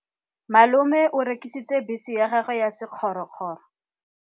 Malome o rekisitse bese ya gagwe ya sekgorokgoro.